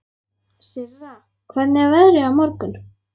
Sirra, hvernig er veðrið á morgun?